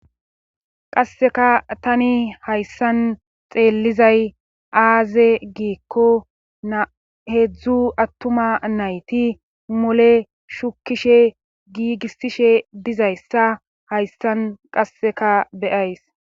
qasseka tani hayssan xeellizay aaze giikko heedzdzu attuma nayti mole shukishe giigissishe dizayssa hayssan qasseka be'ayis